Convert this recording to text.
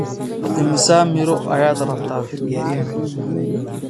Imisa miro ayaad rabtaa?